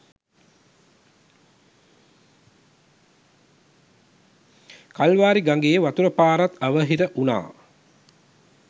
කල්වාරි ගඟේ වතුර පාරත් අවහිර වුණා..